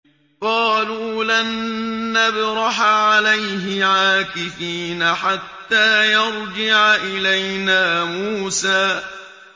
قَالُوا لَن نَّبْرَحَ عَلَيْهِ عَاكِفِينَ حَتَّىٰ يَرْجِعَ إِلَيْنَا مُوسَىٰ